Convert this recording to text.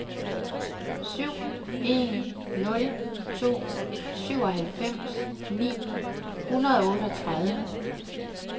syv en nul to syvoghalvfems ni hundrede og otteogtredive